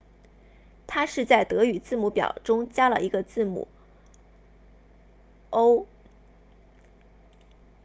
它是在德语字母表中加了一个字母 õ/õ